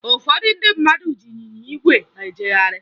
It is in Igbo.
Ụfọdụ ndị mmadụ ji ịnyịnya ígwè ejegharị